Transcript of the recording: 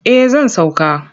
Eh zan sauka.